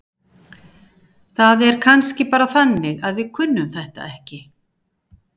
Það er kannski bara þannig að við kunnum þetta ekki.